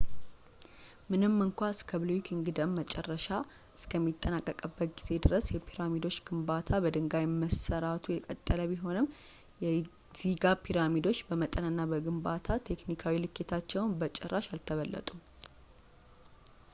ምንም እንኳን እስከ ብሉይ ኪንግደም መጨረሻ እስከሚጠናቀቅበት ጊዜ ድረስ የፒራሚድ ግንባታ በድንጋይ መስራቱ የቀጠለ ቢሆንም የጊዛ ፒራሚዶች በመጠን እና በግንባታ ቴክኒካዊ ልኬታቸው በጭራሽ አልተበለጡም